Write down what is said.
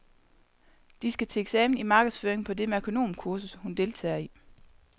De skal til eksamen i markedsføring på det merkonomkursus, hun deltager i.